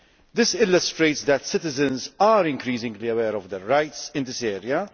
This illustrates that citizens are increasingly aware of their rights in this area.